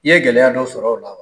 I ye gɛlɛya dɔ sɔr'ɔ la wa?